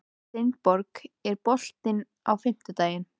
Steinborg, er bolti á fimmtudaginn?